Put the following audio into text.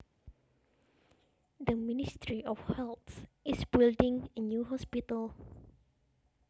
The ministry of health is building a new hospital